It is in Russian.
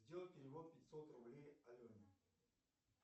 сделай перевод пятьсот рублей алене